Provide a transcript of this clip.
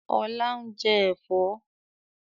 Ọlá ń jẹ́ Ẹ̀fọ́.